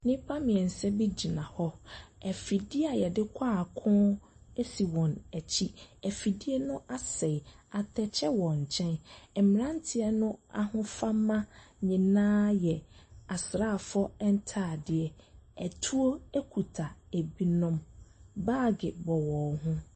Nnipa mmiɛnsa bi gyina hɔ, afidie a yɛde kɔ ako si wɔn akyi, afidie no asɛe, atɛkyɛ wɔ nkyɛn. mmeranteɛ no ahofama nyinaa yɛ asraafoɔ ntaadeɛ, atuo kita binom, baage bobɔ wɔn ho.